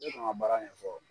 N tɛ sɔn ka baara ɲɛfɔ.